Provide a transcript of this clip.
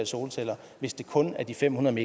solceller hvis det kun er de fem hundrede